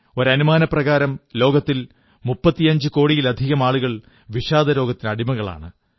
ഒരു അനുമാനപ്രകാരം ലോകത്തിൽ 35 കോടിയിലധികം ആളുകൾ വിഷാദരോഗത്തിനടിമകളാണ്